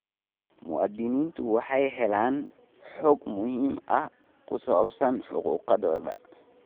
Muwaadiniintu waxay helaan xog muhiim ah oo ku saabsan xuquuqdooda.